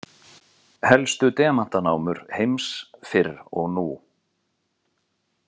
Helstu demantanámur heims fyrr og nú.